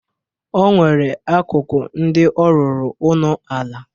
O nwere akụkụ ndị ọ rụrụ ụnọala.